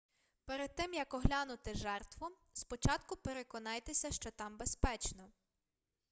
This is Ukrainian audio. перед тим як оглянути жертву спочатку переконайтеся що там безпечно